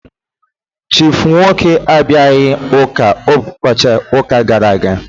Chief Nwoke abịaghị ụka ụbọchị ụka gara aga.